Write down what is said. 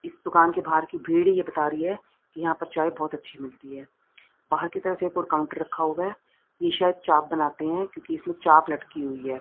इस दुकान के बाहर की भीड़ यह बता रही है कि यहां पर चाय बहुत अच्छी मिलती है बाहर की तरफ एक और काउंटर रखा हुआ है ये शायद चाप बनाते हैं क्योंकि इसमें चाप लटकी हुई है।